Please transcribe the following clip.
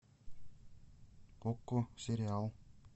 окко сериал